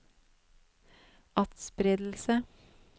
atspredelse